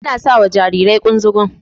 Ana sawa Jarirai kunzugun